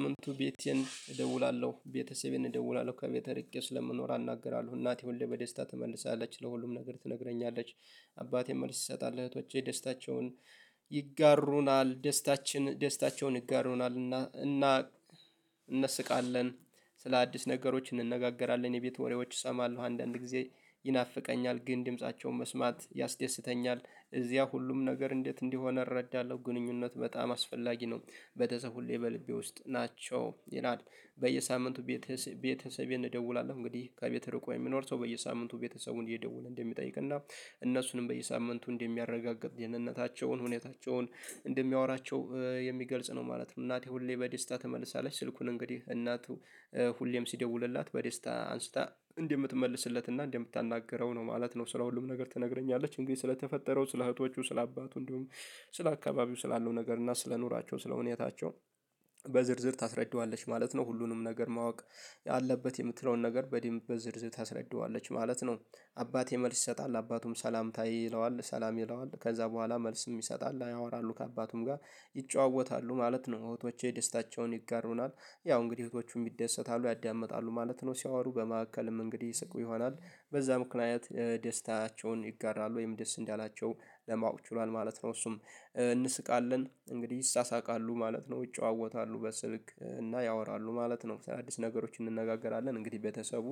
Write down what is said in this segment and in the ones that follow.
ሳምንቱ ቤቴን እደውላለሁ ቤተሰቤን እደውላለሁ ከቤቴ ርቄ ስለምኖር አናገራለሁ እናቴ ሁሌ በደስታ ትመልሳለች ለሁሉም ነገር ትነግረኛለች። አባቴም መልስ ይሰጣል እህቶቼ ደስታቸውን ይጋሩናል ደስታችን ደስታቸውን ይጋሩናል እና እና እንስቃለን። ስለ አዲስ ነገሮች እንነጋገራለን የቤት ወሬዎች እሰማለሁ አንዳንድ ጊዜ ይናፍቀኛል ግን ድምፃቸውን መስማት ያስደስተኛል። እዚያ ሁሉም ነገር እንዴት እንዲሆነ እረዳለሁ ግንኙነት በጣም አስፈላጊ ነው በተሰብ ሁሌ በልቤ ውስጥ ናቸው ይላል። በየሳምንቱ ቤተሰቤ ቤተሰቤን እደውላለሁ እንግዲህ ከቤተ ርቆ የሚኖር ሰው በየሳምንቱ ቤተሰቡን እየደወለ እንደሚጠይቅና እነሱንም በየሳምንቱ እንደሚያረጋግጥ ጤንነታቸውን ሁኔታቸውን እንደሚያወራቸው የሚገልጽ ነው ማለት ነው። እናቴ ሁሌ በደስታ ትመልሳለች ስልኩን እንግዲህ እናቱ ሁሌም ሲደውልላት በደስታ አንስታ እንደምትመልስለት እና እንደምታናግረው ነው ማለት ነው። ስለ ሁሉም ነገር ትነግረኛለች እንግዲህ ስለተፈጠረው ስለ እህቶቹ ስለ አባቱ እንዲሁም ስለ አካባቢው ስላለው ነገር እና ስለ ኑሯቸው ስለ ሁኔታቸው በዝርዝር ታስረዳዋለች ማለት ነው። ሁሉንም ነገር ማወቅ ያለበት የምትለውን ነገር በድምብ በዝርዝር ታስረዳዋለች ማለት ነው። አባቴ መልስ ይሰጣል አባቱም ሰላምታ ይለዋል ሰላም ይለዋል ከዛ በኋላ መልስም ይሰጣል ያወራሉ ከአባቱም ጋር ይጨዋወታሉ ማለት ነው። እህቶቼ ደስታቸውን ይጋሩናል ያው እንግዲህ እህቶቹም ይደሰታሉ ያዳምጣሉ ማለት ነው ሲያወሩ በመሀከልም እንግዲህ ይስቁ ይሆናል በዛ ምክንያት ደስታቸውን ይጋራሉ ወይም ደስ እንዳላቸው ለማወቅ ችሏል ማለት ነው። እሱም እንስቃለን እንግዲህ ይሳሳቃሉ ማለት ነው ይጨዋወታሉ በስልክ እና ያወራሉ ማለት ነው። ነው በተያያዘ ነገሮች እንነጋገራለን እንግዲህ ቤተሰቡ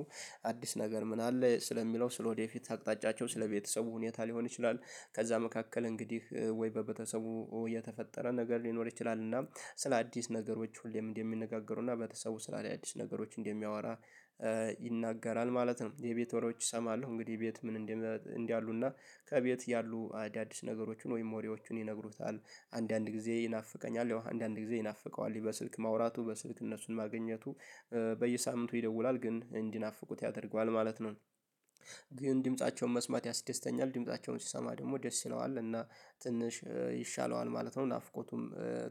አዲስ ነገር ምን አለ ስለሚለው ስለወደፊት አቅጣጫቸው ስለቤተሰቡ ሁኔታ ሊሆን ይችላል። ከዛ መካከል እንግዲህ ወይ በቤተሰቡ የተፈጠረ ነገር ሊኖር ይችላል እና ስለ አዲስ ነገሮች ሁሌም እንደሚነጋገሩና በተሰቡ ውስጥ ታድያ አዲስ ነገሮች እንደሚያወራ ይናገራል ማለት ነው። የቤት ወሬዎች እሰማለሁ እንግዲህ ቤት ምን እንዲህ እንደምን እንዳሉ እና ከቤት ያሉ አዳዲስ ነገሮችን ወይም ወሬዎችን ይነግሩታል። አንዳንድ ጊዜ ይናፍቀኛል ያው አንዳንድ ጊዜ ይናፍቀዋል በስልክ ማውራቱ በስልክ እነሱን ማግኘቱ በየሳምንቱ ይደውላል ግን እንዲናፍቁት ያደርገዋል ማለት ነው። ግን ድምፃቸውን መስማት ያስደስተኛል ድምፃቸውን ሲሰማ ደግሞ ደስ ይለዋል እና ትንሽ ይሻለዋል ማለት ነው ናፍቆቱም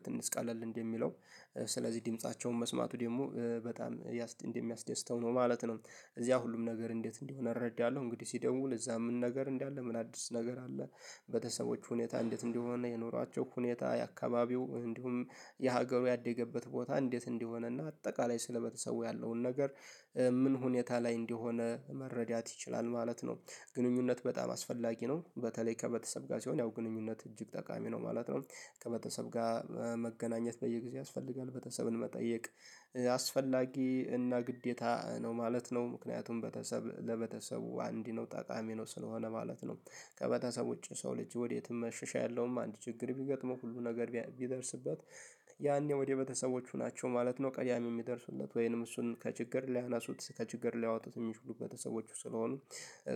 ትንሽ ቀለል እንደሚለው ስለዚህ ድምፃቸውን መስማቱ ደግሞ በጣም እንደሚያስደስተው ነው ማለት ነው። እዚያ ሁሉም ነገር እንዴት እንዲሆን እረዳለሁ እንግዲህ ሲደውል እዛ ምን ነገር እንዳለ ምን አዲስ ነገር አለ? ቤተሰቦች ሁኔታ እንዴት እንደሆነ የኖራቸው ሁኔታ የአካባቢው እንዲሁም የሀገሩ ያደገበት ቦታ እንዴት እንዲሆነና አጠቃላይ ስለበተሰቡ ያለውን ነገር ምን ሁኔታ ላይ እንደሆነ መረዳት ይችላል ማለት ነው። ግንኙነት በጣም አስፈላጊ ነው በተለይ ከበተሰብ ጋር ሲሆን ያው ግንኙነት እጅግ ጠቃሚ ነው ማለት ነው። ከበተሰብ ጋር መገናኘት በየጊዜው ያስፈልጋል በተሰብን መጠየቅ አስፈላጊ እና ግዴታ ነው ማለት ነው። ምክንያቱም በተሰብ ለበተሰቡ አንድ ነው ጠቃሚ ነው ስለሆነ ማለት ነው። ከበተሰቦች ሰው ልጅ ወዴትም መሸሻ ያለውም አንድ ችግር ቢገጥመው ሁሉ ነገር ቢደርስበት ያኔ ወደ ቤተሰቦቹ ናቸው ማለት ነው። ቀዳሚ የሚደርሱለት ወይንም እሱን ከችግር ሊያነሱት ከችግር ሊያወጡት ሚችሉ ቤተሰቦቹ ስለሆኑ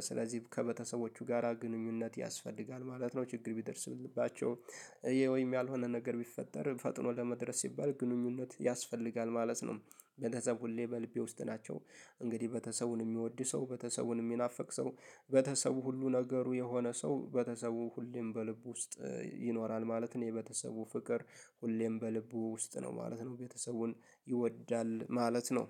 ስለዚህ ከበተሰቦቹ ጋራ ግንኙነት ያስፈልጋል ማለት ነው። ችግር ቢደርስባቸው ይሄ ወይም ያልሆነ ነገር ቢፈጠር ፈጥኖ ለመድረስ ሲባል ግንኙነት ያስፈልጋል ማለት ነው። በተሰብ ሁሌ በልቤ ውስጥ ናቸው። እንግዲህ በተሰቡን የሚወድ ሰው በተሰቡን የሚናፍቅ ሰው በተሰቡ ሁሉ ነገሩ የሆነ ሰው በተሰቡ ሁሌም በልቡ ውስጥ ይኖራል ማለት ነው። የበተሰቡ ፍቅር ሁሌም በልቡ ውስጥ ነው ማለት ነው። ቤተሰቡን ይወዳል ማለት ነው